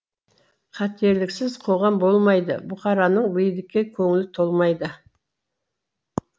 қателіксіз қоғам болмайды бұқараның билікке көңілі толмайды